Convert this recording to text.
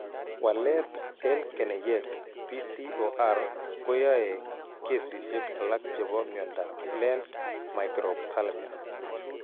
Walet en keneyeek BCOR koyae kesiisyek alak chebo myondap Lenz microphthalmia.